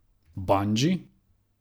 Bandži?